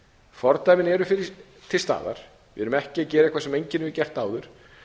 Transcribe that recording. fordæmin eru til staðar við erum ekki að gera eitthvað sem enginn hefur gert áður